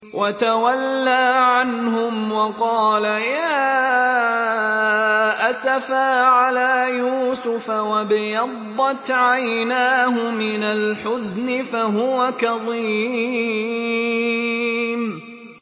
وَتَوَلَّىٰ عَنْهُمْ وَقَالَ يَا أَسَفَىٰ عَلَىٰ يُوسُفَ وَابْيَضَّتْ عَيْنَاهُ مِنَ الْحُزْنِ فَهُوَ كَظِيمٌ